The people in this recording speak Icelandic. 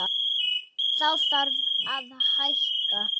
Þá þarf að hækka.